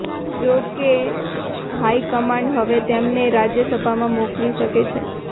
જો કે હાઇકમાન્ડ હવે તેમને રાજ્યસભામાં મોકલી શકે છે